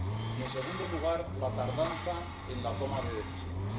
Y, en segundo lugar, la tardanza en la toma de decisiones.